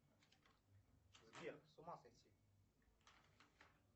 сбер с ума сойти